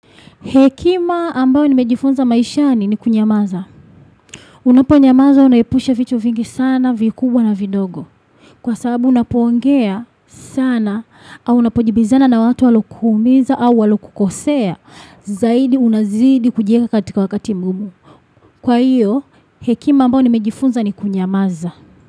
Hekima ambayo nimejifunza maishani ni kunyamaza. Unaponyamaza unaepusha vitu vingi sana vikubwa na vidogo. Kwa sababu unapoongea sana au unapojibizana na watu walo kuumiza au walo kukosea zaidi unazidi kujieka katika wakati mgumu. Kwa hiyo hekima ambayo nimejifunza ni kunyamaza.